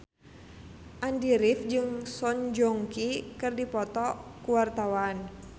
Andy rif jeung Song Joong Ki keur dipoto ku wartawan